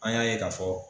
An y'a ye k'a fɔ